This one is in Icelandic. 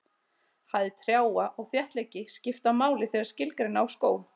Hæð trjáa og þéttleiki skipta máli þegar skilgreina á skóg.